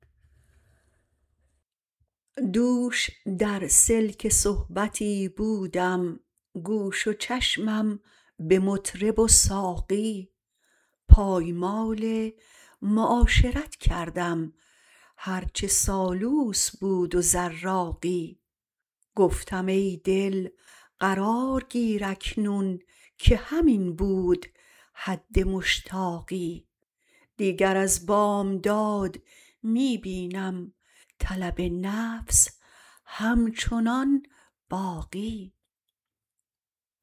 دوش در سلک صحبتی بودم گوش و چشمم به مطرب و ساقی پایمال معاشرت کردم هر چه سالوس بود و زراقی گفتم ای دل قرار گیر اکنون که همین بود حد مشتاقی دیگر از بامداد می بینم طلب نفس همچنان باقی